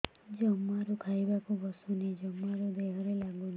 ଜମାରୁ ଖାଇବାକୁ ବସୁନି ଜମାରୁ ଦେହରେ ଲାଗୁନି